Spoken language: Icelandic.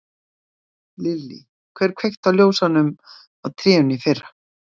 Lillý: Hver kveikti á ljósunum á trénu í fyrra?